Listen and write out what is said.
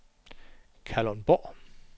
Kalundborg